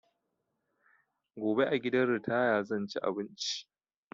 Gobe a gidan ritaya zan ci abinci